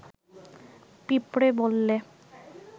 পিঁপড়ে বললে